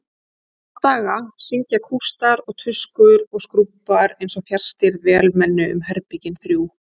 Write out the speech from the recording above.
Í þrjá daga syngja kústar og tuskur og skrúbbar einsog fjarstýrð vélmenni um herbergin þrjú.